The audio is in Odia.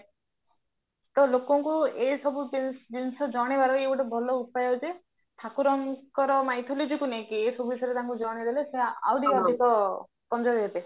ତ ଲୋକଙ୍କୁ ଏ ଏଇ ସବୁ ଜିନିଷ ଜଣେଇବାର ଇଏ ଗୋଟେ ଭଲ ଉପାୟ ଯେ ଠାକୁରଙ୍କର mythology କୁ ନେଇକି ଏସବୁ ବିଷୟରେ ତାଙ୍କୁ ଜଣେଇଦେଲେ ସେ ଆଉରି ଅଧିକ ହେବେ